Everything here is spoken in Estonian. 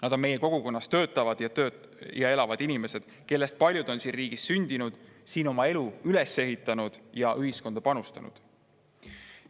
Nad on meie kogukonnas töötavad ja elavad inimesed, kellest paljud on siin riigis sündinud, siin oma elu üles ehitanud ja ühiskonda panustanud.